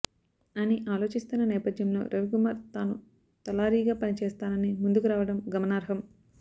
అని ఆలోచిస్తున్న నేపథ్యంలో రవికుమార్ తాను తలారీగా పనిచేస్తానని ముందుకు రావడం గమనార్హం